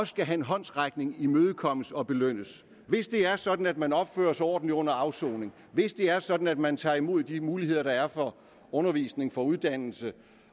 skal have en håndsrækning en imødekommelse og belønnes hvis det er sådan at man opfører sig ordentligt under afsoningen hvis det er sådan at man tager imod de muligheder der er for undervisning og uddannelse